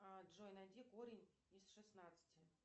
а джой найди корень из шестнадцати